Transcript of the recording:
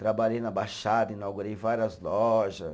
Trabalhei na Baixada, inaugurei várias loja.